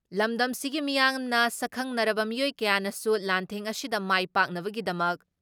ꯂꯝꯗꯝꯁꯤꯒꯤ ꯃꯤꯌꯥꯝꯅ, ꯁꯛꯈꯪꯅꯔꯕ ꯃꯤꯑꯣꯏ ꯀꯌꯥꯅꯁꯨ ꯂꯥꯟꯊꯦꯡ ꯑꯁꯤꯗ ꯃꯥꯏ ꯄꯥꯛꯅꯕꯒꯤꯗꯃꯛ